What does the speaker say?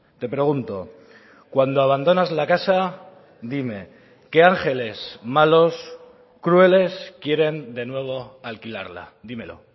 te pregunto cuando abandonas la casa dime qué ángeles malos crueles quieren de nuevo alquilarla dímelo